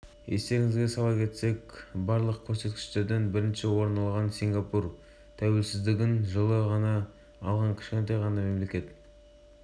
ұлыбритания математика бойынша кітап оқудан ғылымнан орынға жайғасқан елдің білім министрікирсти уильямс біз әлі өзіміз